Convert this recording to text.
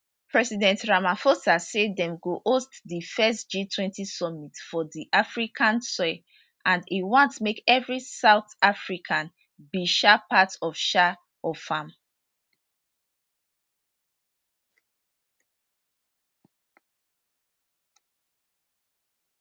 president ramaphosa say dem go host di first g20 summit for di african soil and e want make evri south african be um part um of am